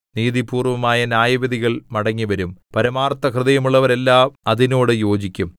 നീതിപൂർവമായ ന്യായവിധികൾ മടങ്ങിവരും പരമാർത്ഥഹൃദയമുള്ളവരെല്ലാം അതിനോട് യോജിക്കും